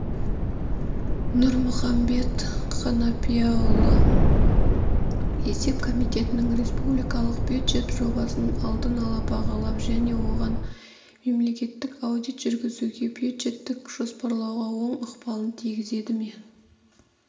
нұрмұхамбет қанапияұлы есеп комитетінің республикалық бюджет жобасын алдын-ала бағалап және оған мемлекеттік аудит жүргізуге бюджеттік жоспарлауға оң ықпалын тигізеді ме